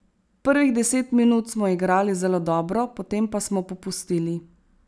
Prvih deset minut smo igrali zelo dobro, potem pa smo popustili.